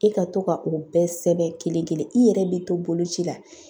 E ka to ka o bɛɛ sɛbɛn kelen-kelen , i yɛrɛ bɛ to boloci la.